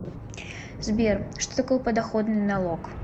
сбер что такое подоходный налог